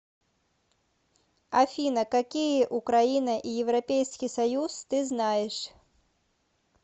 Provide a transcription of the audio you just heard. афина какие украина и европейский союз ты знаешь